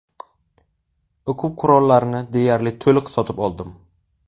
O‘quv qurollarini deyarli to‘liq sotib oldim.